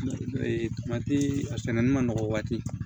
a sɛnɛnen ma nɔgɔ waati